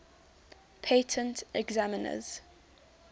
patent examiners